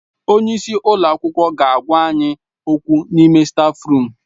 Onye isi ụlọ akwụkwọ ga-agwa anyị okwu n'ime stáfruum.